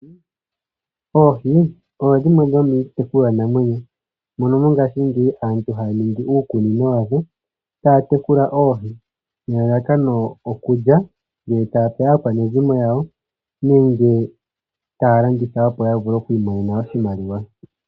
Oohi odho dhimwe dhomiitekulwa namwenyo mono mongaashingeyi aantu haya ningi uukunino wadho taya tekula oohi ,nelalakano okulya nenge taya tekula aakwanezimo yawo nenge taya landitha opo yavule oku imonena oshimaliwa.